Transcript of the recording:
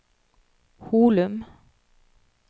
Holum